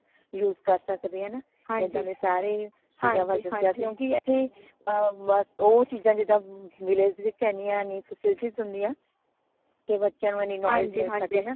use ਕਰ ਸਕਦੇ ਹਾਂ ਹੈ ਨਾ ਏਦਾਂ ਦੇ ਸਾਰੇ ਚੀਜ਼ਾਂ ਬਾਰੇ ਦਸਿਆ ਕੀਯੋ ਏਥੇ ਉਹ ਚੀਜਾਂ ਜਿਦਾ village ਵਿਚ ਏਨੀਆਂ ਨਈ facilities ਨਈ ਹੁੰਦਿਆਂ ਤੇ ਬੱਚਿਆਂ ਨੂ ਏਨੀ knowledge ਮਿਲ ਸਕੇ ਕੇ